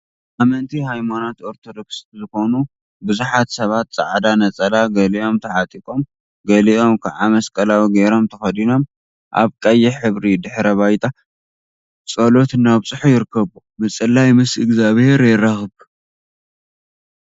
ኣመንቲ ሃይማኖት ኦርቶዶክስ ዝኮኑ ቡዙሓት ሰባት ጻዕዳ ነጸላ ገሊኦም ተዓጢቆም ገሊኦም ከዓ መስቀላዊ ገይሮም ተከዲኖም ኣብ ቀይሕ ሕብሪ ድሕረ ባይታ ጸሎት እናብጽሑ ይርከቡ። ምጽላይ ምስ እግዚኣብሄር የራክብ።